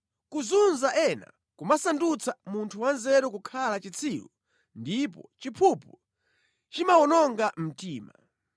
Kuzunza ena kumasandutsa munthu wanzeru kukhala chitsiru, ndipo chiphuphu chimawononga mtima.